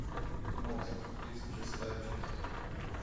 мост тридцать шестая часть